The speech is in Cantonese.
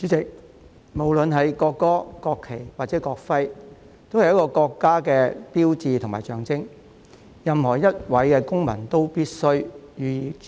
主席，無論國歌、國旗或國徽，都是一個國家的標誌和象徵，任何一位公民都必須予以尊重。